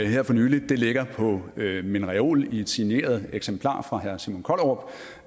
her for nylig ligger på min reol i et signeret eksemplar fra herre simon kollerup